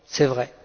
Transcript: C'est vrai